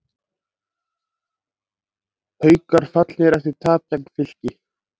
Haukar fallnir eftir tap gegn Fylki